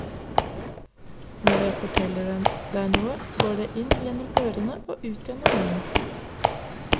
Når jeg forteller deg noe, går det inn gjennom ørene og ut gjennom munnen.